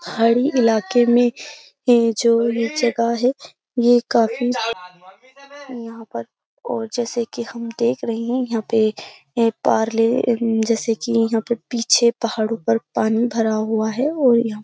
हाड़ी इलाके में यह जो यह जगह है यह काफी यहाँ पर और जैसे कि हम देख रहे हैं यहाँ पे पारले जैसे कि यहां पे पीछे पहाड़ों पर पानी भरा हुआ है और यह --